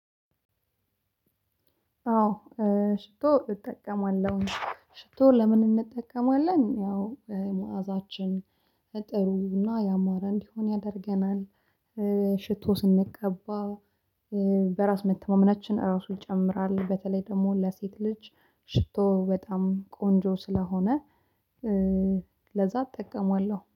አዎ። ሽቶ እጠቀማለሁ። ሽቶ ለምን እንጠቀማለን ያው መዓዛችን ጥሩ እና ያማረ እንዲሆን ያደርገናል። ሽቶ ስንቀባ በራስ መተማመናችን ራሱ ይጨምራል። በተለይ ደግሞ ለሴት ልጅ ሽቶ በጣም ቆንጆ ስለሆነ ለዛ እጠቀማለሁ